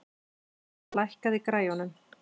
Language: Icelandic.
Voney, lækkaðu í græjunum.